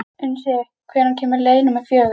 Unnsi, hvenær kemur leið númer fjögur?